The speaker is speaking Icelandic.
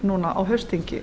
samþykkt á haustþingi